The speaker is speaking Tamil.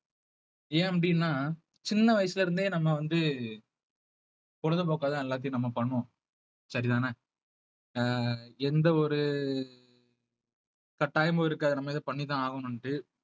ஏன் அப்படின்னா சின்ன வயசுல இருந்தே நம்ம வந்து பொழுதுபோக்காதான் எல்லாத்தையும் நம்ம பண்ணுவோம் சரிதானே அஹ் எந்த ஒரு கட்டாயமும் இருக்காது நம்ம இத பண்ணிதான் ஆகணும்ட்டு